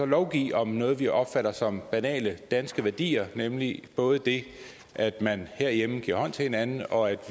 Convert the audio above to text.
lovgive om noget vi opfatter som banale danske værdier nemlig både det at man herhjemme giver hånd til hinanden og at